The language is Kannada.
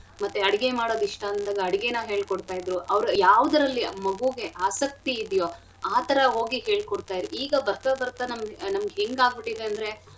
ಮತ್ತೆ ಅಡ್ಗೆ ಮಾಡದು ಇಷ್ಟ ಅಂದ್ರೆ ಅಡ್ಗೆನ ಹೇಳ್ಕೊಡ್ತಾಯಿದ್ರು ಅವ್ರು ಯಾವ್ದ್ರಲ್ಲಿ ಮಗುಗೆ ಆಸಕ್ತಿ ಇದಿಯೊ ಆಥರ ಹೋಗಿ ಹೇಳ್ಕೊಡ್ತಾಯಿದ್ರು ಈಗ ಬರ್ತಾ ಬರ್ತಾ ನಮ್ಗ್~ ನಮ್ಗೆ ಹೆಂಗಾಗ್ಬಿಟಿದೆ ಅಂದ್ರೆ.